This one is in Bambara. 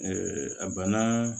a bana